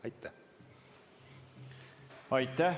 Aitäh!